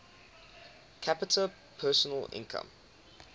capita personal income